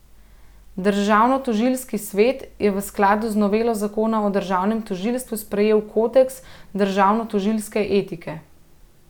Državnotožilski svet je v skladu z novelo zakona o državnem tožilstvu sprejel kodeks državnotožilske etike.